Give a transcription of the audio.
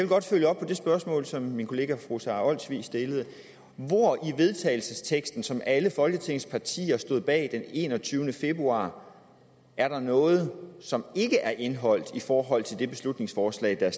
godt følge op på det spørgsmål som min kollega fru sara olsvig stillede hvor i vedtagelsesteksten som alle folketingets partier stod bag den enogtyvende februar er der noget som ikke er indeholdt i forhold til det beslutningsforslag der er